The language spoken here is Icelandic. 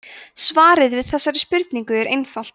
svarið við þessari spurningu er einfalt